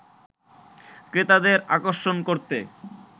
ক্রেতাদের আকর্ষণ করতে